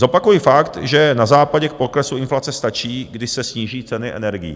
Zopakuji fakt, že na Západě k poklesu inflace stačí, když se sníží ceny energií.